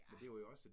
Ja